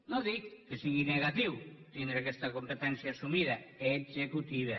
no dic que sigui negatiu tindre aquesta competència assumida executiva